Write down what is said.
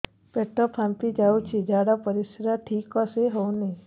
ପେଟ ଫାମ୍ପି ଯାଉଛି ଝାଡ଼ା ପରିସ୍ରା ଠିକ ସେ ହଉନି